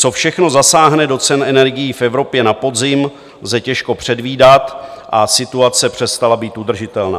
Co všechno zasáhne do cen energií v Evropě na podzim, lze těžko předvídat a situace přestala být udržitelná.